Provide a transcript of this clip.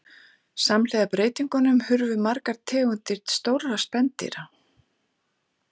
Samhliða breytingunum hurfu fjölmargar tegundir stórra spendýra.